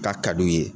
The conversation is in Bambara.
K'a ka d'u ye